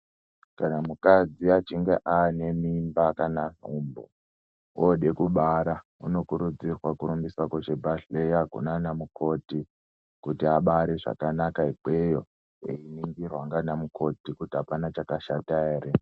Kana mukadzi achinge ane mimba kana nhumbu ode kubara unokurudzirwa kurumbiswa kuzvibhedhlera kunanamukoti kuti abare zvakanaka ikweyo eyiningirwa nanamukoti kuti apana chakashata ere.